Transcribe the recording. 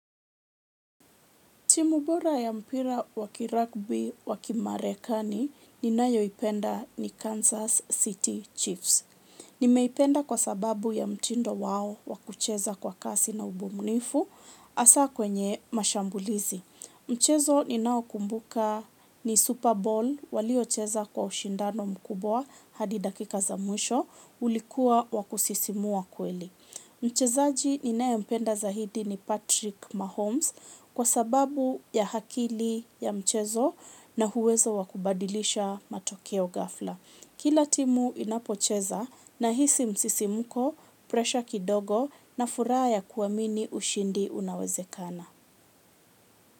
Timu bora ya mpira wa kiragbi wa kimarekani ni nayoipenda ni Kansas City Chiefs. Nimeipenda kwa sababu ya mtindo wao wa kucheza kwa kasi na ubumnifu asa kwenye mashambulizi. Mchezo ninaokumbuka ni Super Bowl waliocheza kwa ushindano mkubwa hadi dakika za mwisho ulikua wa kusisimua kweli. Mchezaji ninaempenda zaidi ni Patrick Mahomes kwa sababu ya akili ya mchezo na uwezo wa kubadilisha matokeo ghafla. Kila timu inapocheza nahisi msisimuko, presha kidogo na furaha ya kuamini ushindi unawezekana.